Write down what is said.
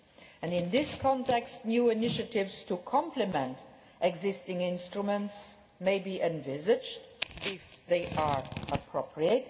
And in this context new initiatives to complement existing instruments may be envisaged if they are appropriate.